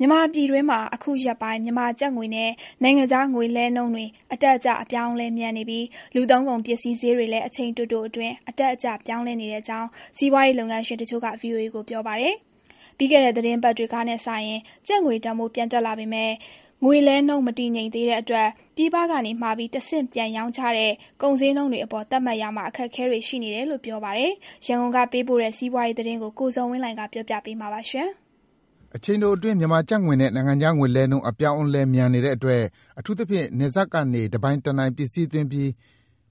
မြန်မာပြည်တွင်းမှာ အခုရက်ပိုင်း မြန်မာကျပ်ငွေနဲ့ နိုင်ငံခြားငွေလဲနှုန်းတွေ အတက် အကျ အပြောင်းအလဲမြန်နေပြီး လူသုံးကုန်ပစ္စည်းဈေးတွေလည်း အချိန်တိုအတွင်း အတက်အကျ ပြောင်းလဲနေတဲ့အကြောင်း စီးပွားရေးလုပ်ငန်းရှင်တချို့က ဗွီအိုအေ ကို ပြောပါတယ်။ ပြီးခဲ့တဲ့ သီတင်းပတ်တွေကနဲ့စာရင် ကျပ်ငွေတန်ဖိုး ပြန်တက် လာပေမယ့် ငွေလဲနှုန်းမတည်ငြိမ်သေးတဲ့အတွက် ပြည်ပကမှာပြီး တဆင့်ပြန်ပြီးရောင်းချတဲ့ ကုန်ဈေးနှုန်းတွေအပေါ် သတ်မှတ်ရာမှာ အခက်အခဲတွေ ရှိနေတယ်လို့ ပြောပါတယ်။ ရန်ကုန်ကပေးပို့တဲ့ စီးပွားရေးသတင်းကို ကိုဇော်ဝင်းလှိုင်က တင်ပြပေးထားပါတယ်။ အချိန်တိုအတွင်း မြန်မာကျပ်ငွေနဲ့ နိုင်ငံခြားငွေလဲနှုန်း အပြောင်းအလဲ မြန်နေတဲ့အတွက် အထူးသဖြင့် နယ်စပ်ကနေ တနိုင်တပိုင်ပစ္စည်းသွင်းပြီး